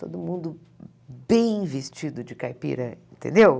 Todo mundo bem vestido de caipira, entendeu?